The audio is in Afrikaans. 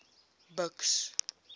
buks